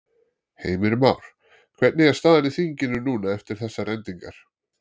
Heimir Már: Hvernig er staðan í þinginu núna eftir þessar endingar?